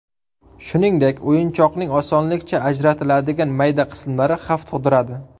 Shuningdek, o‘yinchoqning osonlikcha ajratiladigan mayda qismlari xavf tug‘diradi.